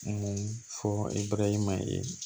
Mun fɔ ye